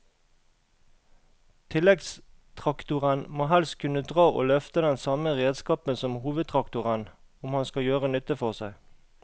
Tilleggstraktoren må helst kunne dra og løfte den samme redskapen som hovedtraktoren om han skal gjøre nytte for seg.